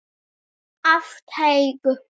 Af teig